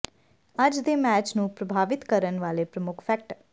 ਅੱਜ ਦੇ ਮੈਚ ਨੂੰ ਪ੍ਰਭਾਵਿਤ ਕਰਨ ਵਾਲੇ ਪ੍ਰਮੁੱਖ ਫੈਕਟਰ